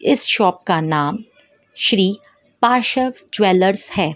इस शॉप का नाम श्री पास ज्वेलर्स है।